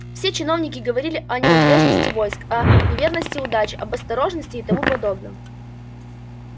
все чиновники говорили о ненадёжности войск о неверности удачи об осторожности и тому подобном